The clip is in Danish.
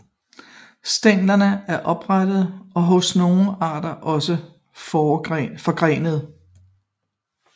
Stænglerne er oprette og hos nogle arter også forgrenede